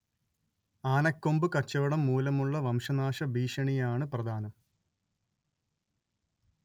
ആനക്കൊമ്പ് കച്ചവടം മൂലമുള്ള വംശനാശ ഭീഷണിയാണ്‌ പ്രധാനം